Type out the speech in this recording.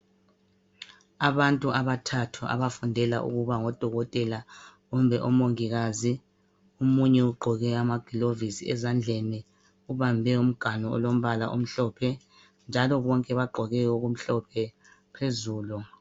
Abantu abathathu abafundela ukuba ngodokotela kumbe omongikazi. Omunye ugqoke amagilovisi ezandleni ubambe umganu olombala omhlophe njalo bonke bagqoke okumhlophe phezulu.